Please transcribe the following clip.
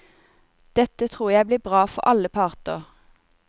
Dette tror jeg blir bra for alle parter.